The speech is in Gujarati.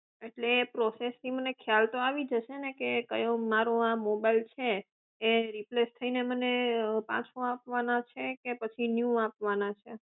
એ process થી મને ખ્યાલ આવી જશે ને કયો મારો આ mobile આ mobile છે એ રિપ્લેસ થઇને પાછો આપવાનો છે કે પછી ન્યુ આપવાના છે